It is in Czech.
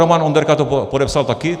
Roman Onderka to podepsal taky?